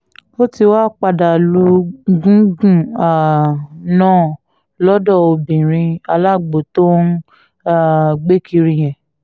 ó ti wáá padà lu gúngún um náà lọ́dọ̀ obìnrin alágbó tó ń um gbé kiri yẹn